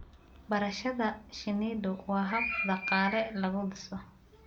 Barashada shinnidu waa hab dhaqaale lagu dhiso.